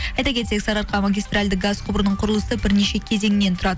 айта кетсек сарыарқа магистральді газ құбырының құрылысы бірнеше кезеңнен тұрады